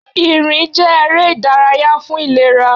Ìrìn jẹ́ eré ìdárayá fún ìlera.